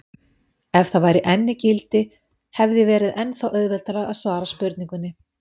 Ef það væri enn í gildi hefði verið ennþá auðveldara að svara spurningunni.